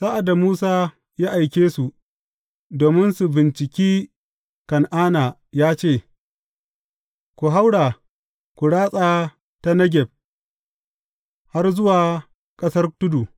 Sa’ad da Musa ya aike su domin su binciki Kan’ana ya ce, Ku haura, ku ratsa ta Negeb har zuwa ƙasar tudu.